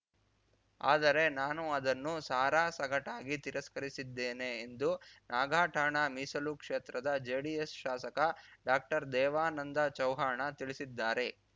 ಆದರೆ ನಾನು ಅದನ್ನು ಸಾರಾಸಗಟಾಗಿ ತಿರಸ್ಕರಿಸಿದ್ದೇನೆ ಎಂದು ನಾಗಠಾಣ ಮೀಸಲು ಕ್ಷೇತ್ರದ ಜೆಡಿಎಸ್‌ ಶಾಸಕ ಡಾಕ್ಟರ್ದೇವಾನಂದ ಚವ್ಹಾಣ ತಿಳಿಸಿದ್ದಾರೆ